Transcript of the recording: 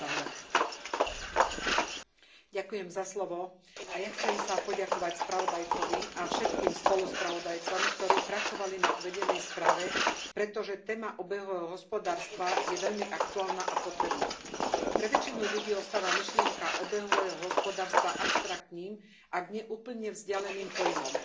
Vážená pani predsedajúca, aj ja sa chcem poďakovať spravodajcovi a všetkým spoluspravodajcom, ktorí pracovali na uvedenej správe, pretože téma obehového hospodárstva je veľmi aktuálna a potrebná. Pre väčšinu ľudí ostáva myšlienka obehového hospodárstva abstraktným, ak nie úplne vzdialeným pojmom.